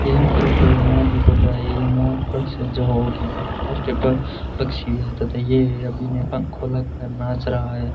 यह फोटो एक मोर की फोटो है ये मोर पक्षी है जो भारत राष्ट्रीय पक्षी है तथा ये अभी अपने पंख खुला कर नाच रहा है।